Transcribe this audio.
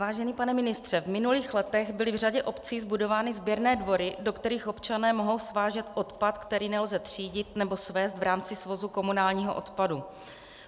Vážený pane ministře, v minulých letech byly v řadě obcí zbudovány sběrné dvory, do kterých občané mohou svážet odpad, který nelze třídit nebo svézt v rámci svozu komunálního odpadu.